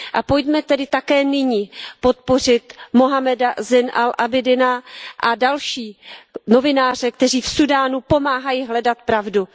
A pojďme tedy také nyní podpořit Muhammada Zajna al Ábidína a další novináře, kteří v Súdánu pomáhají hledat pravdu.